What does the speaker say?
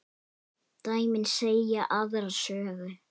Dæmin segja aðra sögu.